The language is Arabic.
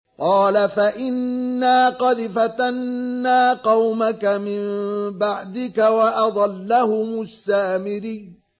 قَالَ فَإِنَّا قَدْ فَتَنَّا قَوْمَكَ مِن بَعْدِكَ وَأَضَلَّهُمُ السَّامِرِيُّ